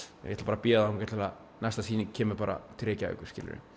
ég ætla að bíða þangað til næsta sýning kemur bara til Reykjavíkur